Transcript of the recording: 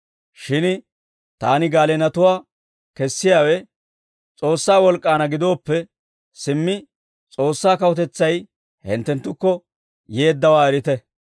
Shin taani gaaleenatuwaa kessiyaawe S'oossaa wolk'k'aanna gidooppe, simmi S'oossaa kawutetsay hinttenttukko yeeddawaa erite.